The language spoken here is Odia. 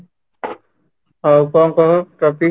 ହଉ କ'ଣ କହ topic ?